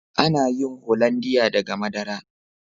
Ana yin " hollandia" daga madara.